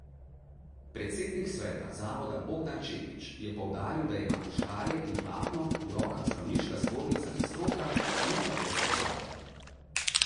Predsednik sveta zavoda Bogdan Čepič je poudaril, da imata škarje in platno v rokah zdravniška zbornica in stroka, ne pa vodstvo zavoda.